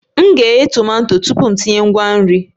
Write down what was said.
M ga-eghe tomato tupu m etinye ngwa nri